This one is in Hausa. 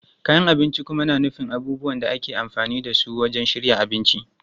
Kayan abinci kuma na nufin abubuwan da ake amfani da su wajen shirya abinci.